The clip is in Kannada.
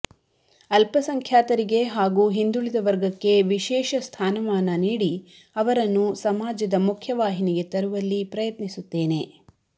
ಅಲ್ಪಸಂಖ್ಯಾತರಿಗೆ ಹಾಗೂ ಹಿಂದೂಳಿದ ವರ್ಗಕ್ಕ ವಿಶೇಷ ಸ್ಥಾನಮಾನ ನೀಡಿ ಅವರನ್ನು ಸಮಾಜದ ಮುಖ್ಯ ವಾಹಿನಿಗೆ ತರುವಲ್ಲಿ ಪ್ರಯತ್ನಿಸುತ್ತೇನೆ